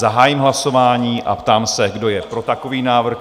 Zahájím hlasování a ptám se, kdo je pro takový návrh?